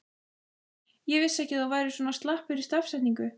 Ég vissi ekki að þú værir svona slappur í stafsetningu!